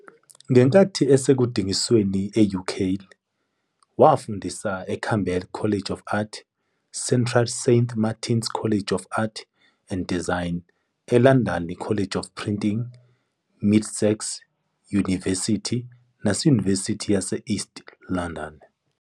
Ngenkathi esekudingisweni e-UK, wafundisa eCamberwell College of Art, Central Saint Martins College of Art and Design, eLondon College of Printing, Middlesex Yunivesithi nase- Yunivesithi yase East London.